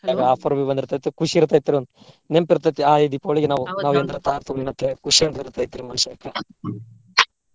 ಅದ offer ಬಿ ಬಂದಿರ್ತೆತಿ ಖುಷ್ ಇರ್ತೆತ್ರಿ ಒಂದ ನೆಂಪ ಇರ್ತೆತಿ ಆಹ್ ಈ ದೀಪಾವಳಿಗ ನಾವು Mahindra Thar ತಗೊಂಡು ಅಂತ ಹೇಳಿ ಖುಷಿ ಒಂದ ಇರ್ತೆತ್ರಿ ಮನಷ್ಯಾಗ .